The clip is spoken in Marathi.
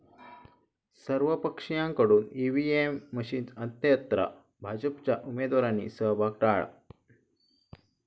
सर्वपक्षीयांकडून ईव्हीएम मशीनची अंत्ययात्रा, भाजपच्या उमेदवारांनी सहभाग टाळला